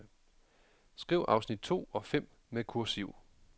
Skriv afsnit to og fem med kursiv.